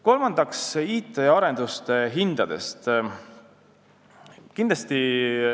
Kolmandaks, IT-arenduste hinnad.